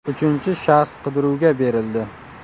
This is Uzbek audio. Uchinchi shaxs qidiruvga berildi.